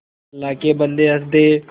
अल्लाह के बन्दे हंसदे